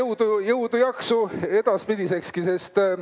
Edu ja jõudu-jaksu edaspidisekski!